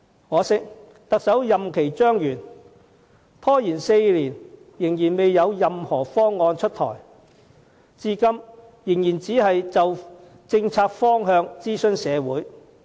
可惜，特首任期將滿，拖延4年仍未有任何方案出台，至今仍只是就政策方向諮詢社會。